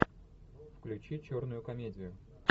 включи черную комедию